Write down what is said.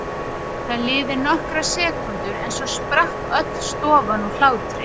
Það liðu nokkrar sekúndur en svo sprakk öll stofan úr hlátri.